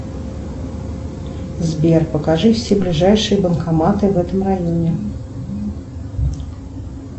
сбер покажи все ближайшие банкоматы в этом районе